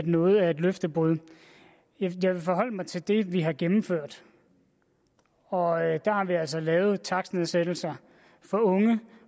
noget er et løftebrud jeg vil forholde mig til det vi har gennemført og der har vi altså lavet takstnedsættelser for unge